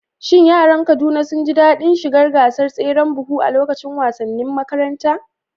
Shin yaran Kaduna sun ji daɗin shiga gasar tseren buhu a lokacin wasannin makaranta?